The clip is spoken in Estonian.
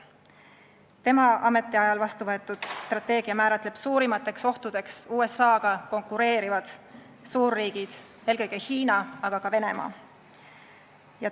Tema ametiajal vastuvõetud strateegia määratleb suurimate ohtudena USA-ga konkureerivad suurriigid, eelkõige Hiina, aga ka Venemaa.